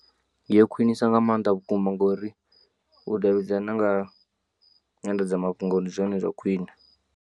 Yo khwinisa nga maanḓa vhukuma ngori u davhidzana nga nyanḓadzamafhungo ndi zwone zwa khwine.